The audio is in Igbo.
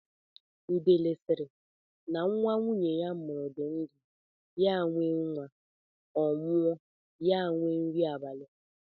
Udele sịrị, na nwa nwunye ya mụrụ di ndụ, ya enwee nwa; Ọ nwụọ, ya enwee nri abali.